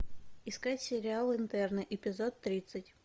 искать сериал интерны эпизод тридцать